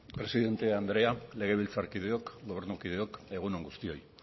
presidente andrea legebiltzarkideok gobernukideok egun on guztioi